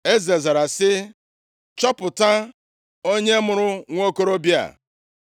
Eze zara sị, “Chọpụta onye mụrụ nwokorobịa a.”